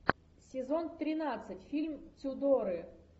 сезон тринадцать фильм тюдоры